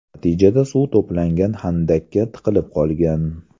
Natijada suv to‘plangan xandaqqa tiqilib qolgan.